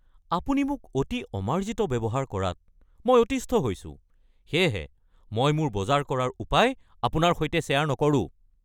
আপুনি মোক অতি অমাৰ্জিত ব্যৱহাৰ কৰাত মই অতিষ্ঠ হৈছোঁ, সেয়েহে মই মোৰ বজাৰ কৰাৰ উপায় আপোনাৰ সৈতে শ্বেয়াৰ নকৰোঁ।